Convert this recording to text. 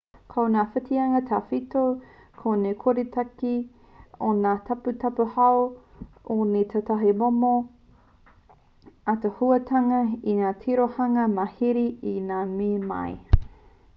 ko ngā whitinga tawhito ko te koretake o ngā taputapu hou me tētahi momo ātaahuatanga i whai tirohanga mārihi ai ngā mea nei